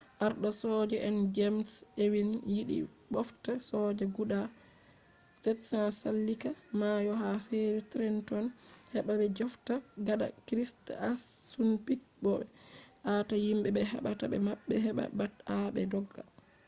arɗo soja en jems ewing yiɗi ɓofta soja guda 700 sallika mayo ha feri trenton heɓa ɓe jafta gada krik assunpik bo ɓe aata himɓe ɓe haɓata be maɓɓe he ɓat aa be dogga